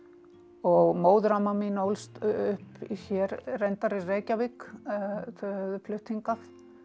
og móðuramma mín ólst upp hér reyndar í Reykjavík þau höfðu flutt hingað